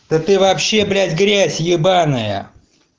да ты вообще блять грязь ебаная